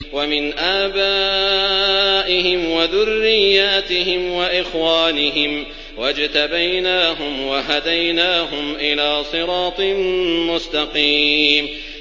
وَمِنْ آبَائِهِمْ وَذُرِّيَّاتِهِمْ وَإِخْوَانِهِمْ ۖ وَاجْتَبَيْنَاهُمْ وَهَدَيْنَاهُمْ إِلَىٰ صِرَاطٍ مُّسْتَقِيمٍ